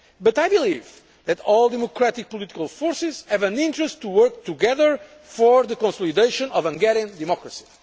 But I believe that all democratic political forces have an interest in working together for the consolidation of a Hungarian democracy.